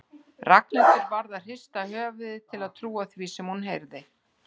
Ragnhildur varð að hrista höfuðið til að trúa því sem hún heyrði.